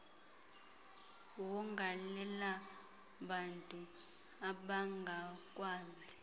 wonga lelabantu abangakwazi